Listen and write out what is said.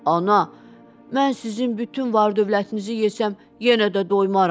Ana, mən sizin bütün var-dövlətinizi yesəm, yenə də doymaram.